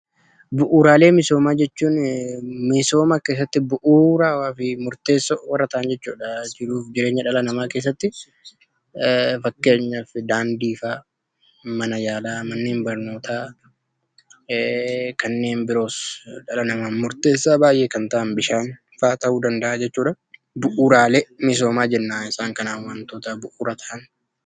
Bu'uuraalee misoomaa jechuun Misooma keessatti bu'uuraawaa fi murteessoo warra ta'an jechuudha. Jiruuf jireenya dhala namaa keessatti fakkeenyaaf Daandii fa'a, Mana yaalaa, Manneen Barnootaa kanneen biroos dhala namaaf murteessoo baay'ee kan ta'an Bishaan fa'a ta'uu danda'a jechuudha. 'Bu'uraalee Misoomaa' jennaan isaan kanaan wantoota bu'uura ta'an.